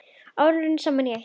Árin runnu saman í eitt.